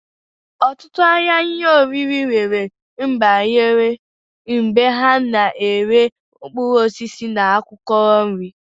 Otutu ahia ihe oriri nwere mgbagara ebe ana ere mkpuruosisi na akwokwo nri.